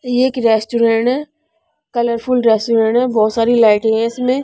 ये एक रेस्टोरेंट है कलरफुल रेस्टोरेंट है बहुत सारी लाइटें हैं इसमें--